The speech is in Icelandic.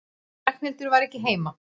Ragnhildur var ekki heima.